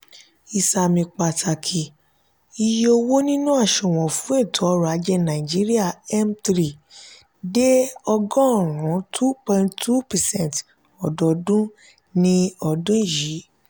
ìsàmì pàtàkì: iye owó nínú àsùnwòn fún ètò orò-ajé nàìjíríà (m three ) dé ọgọrùn two point two percent ọdọọdún di ọdún yìí.